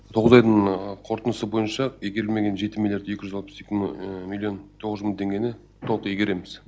тоғыз айдың қорытындысы бойынша игерілмеген жеті миллиард екі жүз алпыс екі миллион тоғыз жүз мың теңгені толық игереміз